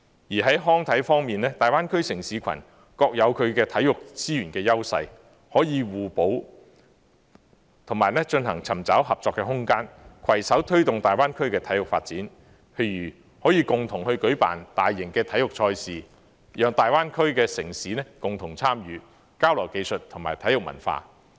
在康體方面，大灣區城市群各有其體育資源的優勢，可以互補，以及尋找合作的空間，攜手推動大灣區的體育發展，譬如可以共同舉辦大型體育賽事，讓大灣區的城市共同參與，交流技術和體育文化。